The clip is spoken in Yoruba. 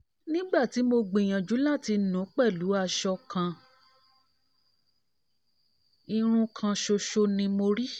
nígbà tí mo gbìyànjú láti ́nu pẹ̀lú aṣọ kan irun kan ṣoṣo ni mo rí